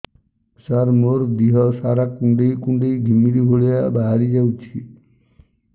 ସାର ମୋର ଦିହ ସାରା କୁଣ୍ଡେଇ କୁଣ୍ଡେଇ ଘିମିରି ଭଳିଆ ବାହାରି ଯାଉଛି